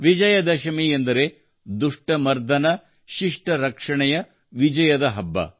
ವಿಜಯ ದಶಮಿ ಎಂದರೆ ದುಷ್ಟ ಮರ್ದನ ಶಿಷ್ಟ ರಕ್ಷಣೆಯ ವಿಜಯದ ಹಬ್ಬ